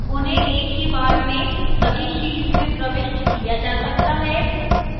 उन्हें एक ही बार में सभी शीट्स में प्रविष्ट किया जा सकता है